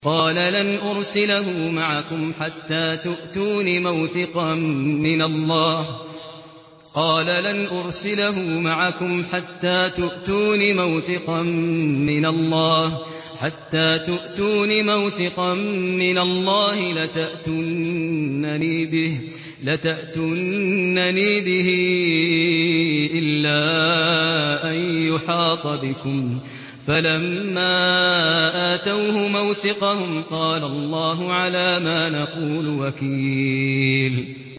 قَالَ لَنْ أُرْسِلَهُ مَعَكُمْ حَتَّىٰ تُؤْتُونِ مَوْثِقًا مِّنَ اللَّهِ لَتَأْتُنَّنِي بِهِ إِلَّا أَن يُحَاطَ بِكُمْ ۖ فَلَمَّا آتَوْهُ مَوْثِقَهُمْ قَالَ اللَّهُ عَلَىٰ مَا نَقُولُ وَكِيلٌ